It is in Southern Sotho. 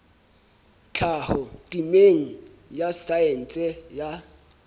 tlhaho temeng ya saense ya